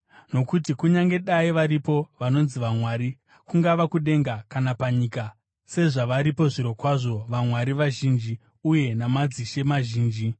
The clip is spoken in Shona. Nokuti kunyange dai varipo vanonzi vamwari, kungava kudenga kana panyika (sezvavaripo zvirokwazvo “vamwari” vazhinji uye na“madzishe” mazhinji),